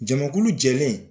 Jamakulu jɛlen